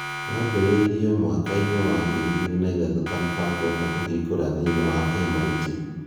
Wambĩrĩirio mwaka-inĩ wa 2003 ta mũbango wa kũhingũra thĩiniĩ wa MIT